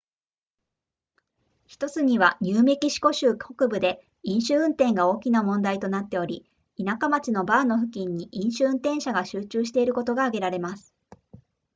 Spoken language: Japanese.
1つにはニューメキシコ州北部で飲酒運転が大きな問題となっており田舎町のバーの付近に飲酒運転者が集中していることが挙げられます